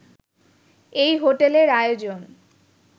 এই হোটেলের আয়োজন